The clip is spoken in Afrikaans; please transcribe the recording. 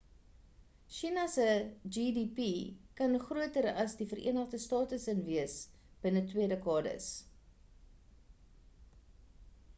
china se gdp kan groter as die verenigde state s'n wees binne twee dekades